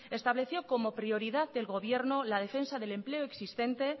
estableció como prioridad del gobierno la defensa del empleo existente